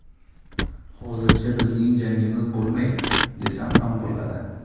Hozircha bizning jangimiz bo‘lmaydi, desam ham bo‘ladi.